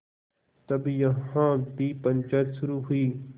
तब यहाँ भी पंचायत शुरू हुई